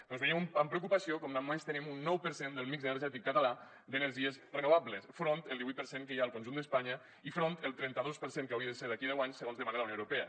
doncs veiem amb preocupació com només tenim un nou per cent del mix energètic català d’energies renovables enfront del divuit per cent que hi ha al conjunt d’espanya i enfront del trenta dos per cent que hauria de ser d’aquí a deu anys segons demana la unió europea